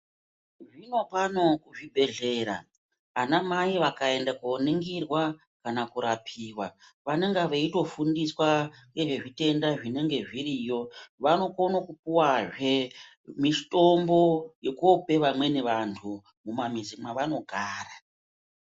Zvinopano kuzvibhedhlera anamai vakaenda koningirwa kana kurapiwa vanenga veitofundiswa nezvezvitenda zvinenge zviriyo vanokona kupuwazve mitombo yokope vamweni vantu mumamizi mwavanogara.